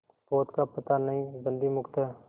पोत का पता नहीं बंदी मुक्त हैं